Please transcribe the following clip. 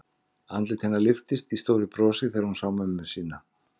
Andlit hennar lyftist í stóru brosi þegar hún sá mömmu sína.